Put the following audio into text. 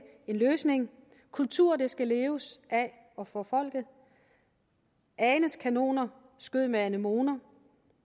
en løsning kultur skal leves af og for folket anes kanoner skød med anemoner